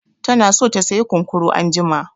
Tana so ta saya ƙunƙuru anjima